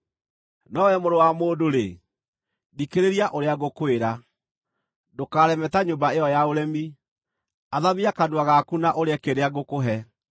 No wee mũrũ wa mũndũ-rĩ, thikĩrĩria ũrĩa ngũkwĩra. Ndũkareme ta nyũmba ĩyo ya ũremi; athamia kanua gaku na ũrĩe kĩrĩa ngũkũhe.”